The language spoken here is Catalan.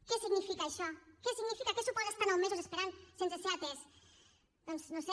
què significa això què significa què suposa estar nou mesos esperant sense ser atès doncs no ho sé